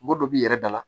Mɔgɔ dɔ b'i yɛrɛ dala